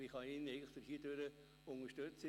Aber ich kann ihn hiermit unterstützen.